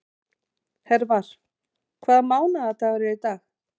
Hervar, hvaða mánaðardagur er í dag?